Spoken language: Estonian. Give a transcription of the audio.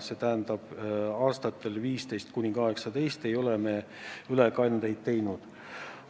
Seega aastatel 2015–2018 ei ole me ülekandeid teinud.